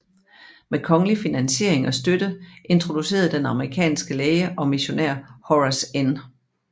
Med kongelig finansiering og støtte introducerede den amerikanske læge og missionær Horace N